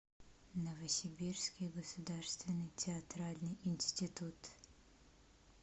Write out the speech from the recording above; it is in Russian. новосибирский государственный театральный институт